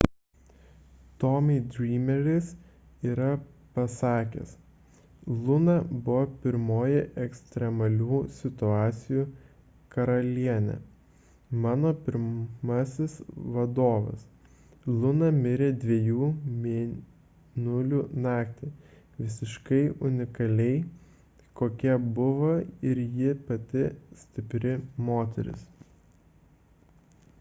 tommy dreameris yra pasakęs luna buvo pirmoji ekstremalių situacijų karalienė mano pirmasis vadovas luna mirė dviejų mėnulių naktį visiškai unikaliai kokia buvo ir ji pati stipri moteris